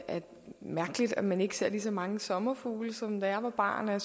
mærkeligt at man ikke ser lige så mange sommerfugle som da jeg var barn og